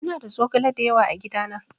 Ina da zogale dayawa a gidana.